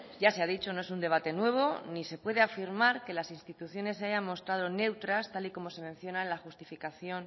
ya se ha dicho no es un debate nuevo ni se puede afirmar que las instituciones se hayan mostrado neutras tal y como se menciona en la justificación